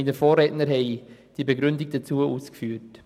Meine Vorredner haben die Begründung dazu ausgeführt.